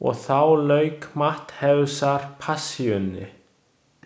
Og þá lauk Mattheusarpassíunni.